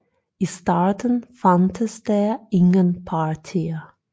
I starten fandtes der ingen partier